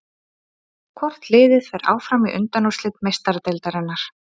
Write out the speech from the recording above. Hvort liðið fer áfram í undanúrslit Meistaradeildarinnar?